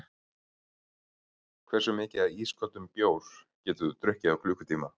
Hversu mikið af ísköldum bjór getur þú drukkið á klukkutíma?